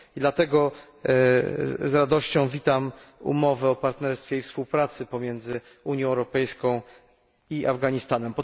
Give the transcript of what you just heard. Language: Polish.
Dlatego z radością witam umowę o partnerstwie i współpracy między Unią Europejską i Afganistanem.